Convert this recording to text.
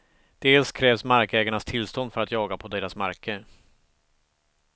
Dels krävs markägarnas tillstånd för att jaga på deras marker.